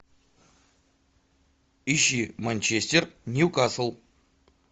ищи манчестер ньюкасл